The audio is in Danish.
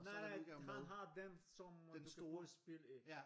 Nej nej han har den som man kan putte spil ind